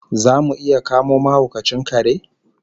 Zamu iya kamo mahaukacin kare?